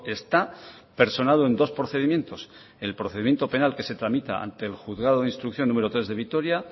está personado en dos procedimientos el procedimiento penal que se tramita ante el juzgado de instrucción número tres de vitoria